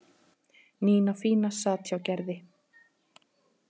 Nína fína sat hjá Gerði.